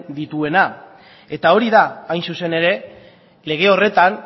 dituena eta hori da hain zuzen ere lege horretan